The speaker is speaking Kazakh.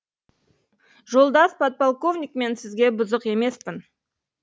жолдас подполковник мен сізге бұзық емеспін